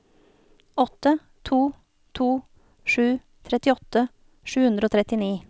åtte to to sju trettiåtte sju hundre og trettini